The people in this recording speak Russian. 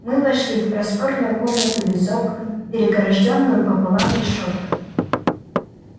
мы вошли в просторную комнату без окон перегорождённую пополам решёткой